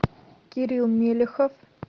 кирилл мелехов